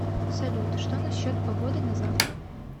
салют что насчет погоды на завтра